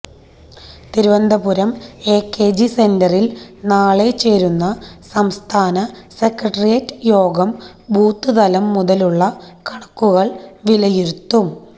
Thiruvananthapuram AKG സെന്ററിൽ നാളെ ചേരുന്ന സംസ്ഥാന സെക്രട്ടേറിയറ്റ് യോഗം ബൂത്തുതലം മുതലുള്ള കണക്കുകൾ വിലയിരുത്തും